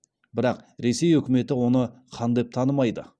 бірақ ресей өкіметі оны хан деп танымайды